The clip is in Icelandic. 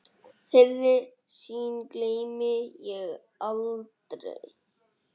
Þeirri sýn gleymi ég aldrei.